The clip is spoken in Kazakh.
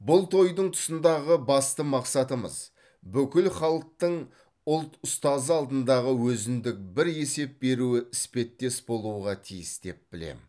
бұл тойдың тұсындағы басты мақсатымыз бүкіл халықтың ұлт ұстазы алдындағы өзіндік бір есеп беруі іспеттес болуға тиіс деп білем